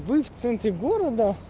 в центре города